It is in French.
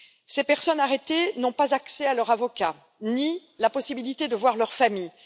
Ces personnes arrêtées n'ont pas accès à leur avocat, ni la possibilité de voir leur famille.